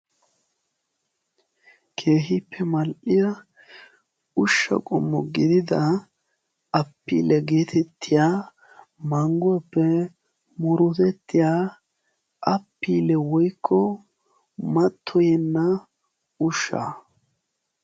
keehiippe mal77iya ushsha qummo gidida apiile geetettiya mangguwaappe murutettiya apiile woikko mattoyenna ushshaa.